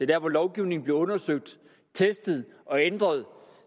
der hvor lovgivningen bliver undersøgt testet og ændret